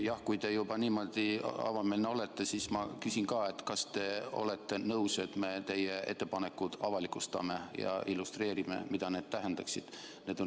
Jah, kui te juba niimoodi avameelne olete, siis ma küsin: kas te olete nõus sellega, et me teie ettepanekud avalikustame ja illustreerime, mida need tähendaksid?